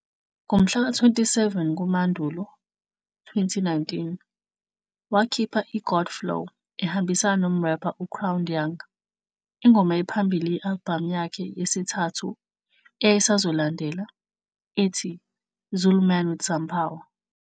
Ngomhlaka 27 kuMandulo 2019, wakhipha i-"God Flow" ehambisana nomrepha u-crownedYung, ingoma ephambili ye-albhamu yakhe yesithathu eyayisazolandela, ethi "Zulu Man with Some Power".